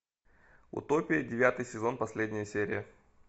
утопия девятый сезон последняя серия